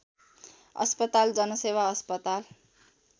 अस्पताल जनसेवा अस्पताल